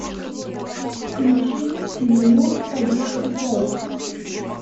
включи тимур одинокий волк